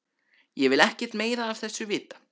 Ég vil ekkert meira af þessu vita.